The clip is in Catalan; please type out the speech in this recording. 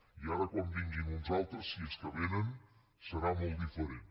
i ara quan vinguin uns altres si és que vénen serà molt diferent